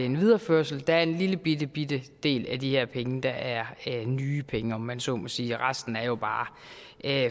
en videreførelse der er en lille lillebitte del af de her penge der er nye penge om man så må sige resten er jo bare